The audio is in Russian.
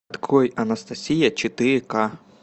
открой анастасия четыре ка